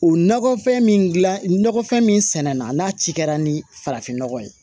O nɔgɔfɛn min gilan nakɔfɛn mina n'a ci kɛra ni farafin nɔgɔ ye